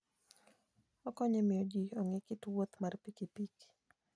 Okonyo e miyo ji ong'e kit wuoth mar pikipiki.